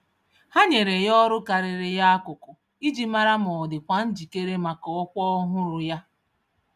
Ha nyèrè ya ọrụ karịrị ya akụkụ iji mara ma ọdịkwa njikere màkà ọkwa ọhụrụ yá